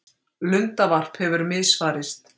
Lundavarp hefur misfarist